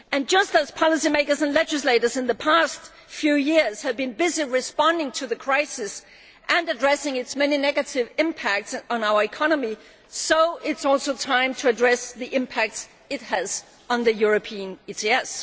Just as policy makers and legislators in the past few years have been busy responding to the crisis and addressing its many negative impacts on our economy, so it is time to address the impacts it has on the European ETS.